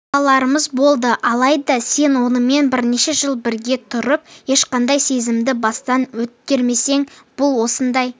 балаларымыз болды алайда сен онымен бірнеше жыл бірге тұрып ешқандай сезімді бастан өткермесең бұл осындай